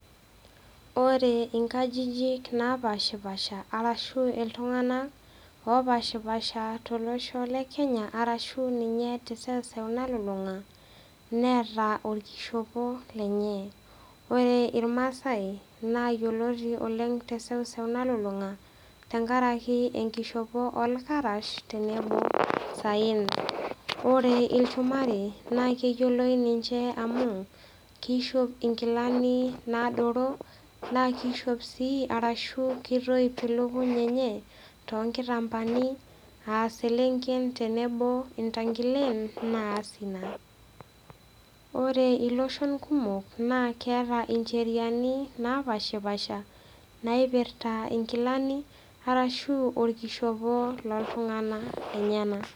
Ore inkajijik napaashipaasha arashu eltungana opashipasha te losho le Kenya arashu ninye te seuseu nalulunga, neeta olkishopo lente. Ore ilmaasai naa yeloti oleng te seuseu nalulunga tengaraki enkishopo olkarash tenebo osaen. Ore ilchumari naa keyioloi ninche amuu, keisho ingilani naadoro, naa keishop sii arashu keitoip ilukuny enye too nkitambaani aselenken tenebo o irrandilen naas inia. Ore illoshon kumok naa keata incheriani napashpaasha naipirta engilani arashu olkishopo loltungana lenyena.